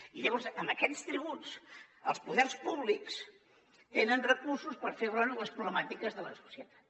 i llavors amb aquests tributs els poders públics tenen recursos per fer front a les problemàtiques de la societat